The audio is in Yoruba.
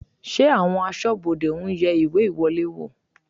Ṣé àwọn aṣọ́bodè ń yẹ ìwé ìwọlé wò?